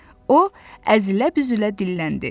O əzilə-büzülə dilləndi.